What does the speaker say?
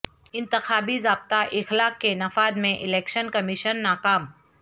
انتخابی ضابطہ اخلاق کے نفاذ میں الیکشن کمیشن ناکام